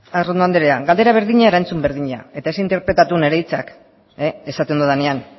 arrondo andrea galdera berdina erantzun berdina eta ez interpretatu nire hitzak esaten dudanean